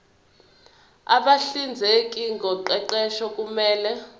abahlinzeki ngoqeqesho kumele